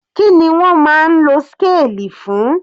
Kíni wọ́n máa ń lo scale fún?